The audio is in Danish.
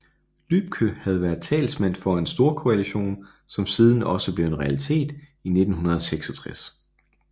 Lübke havde været talsmand for en storkoalition som siden også blev en realitet i 1966